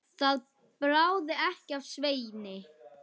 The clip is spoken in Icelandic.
Það bráði ekki af Sveini.